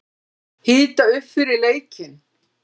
Hita upp fyrir leikinn?